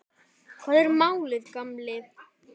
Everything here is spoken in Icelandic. Hvað er málið, gamli?